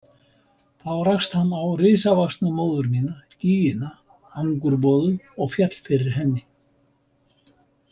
Þá rakst hann á risavaxna móður mína, gýgina Angurboðu, og féll fyrir henni.